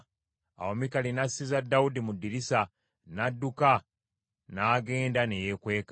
Awo Mikali n’assiza Dawudi mu ddirisa, n’adduka n’agenda ne yeekweka.